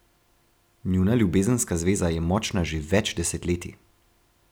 Njuna ljubezenska zveza je močna že več desetletij.